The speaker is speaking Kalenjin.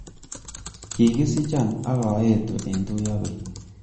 Kikisicho ak aetu eng tuiyabei